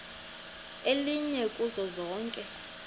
elinye kuzo zonke